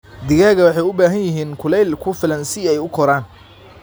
Digaagga waxay u baahan yihiin kulayl ku filan si ay u koraan.